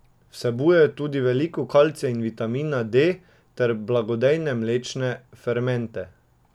Vsebuje tudi veliko kalcija in vitamina D ter blagodejne mlečne fermente.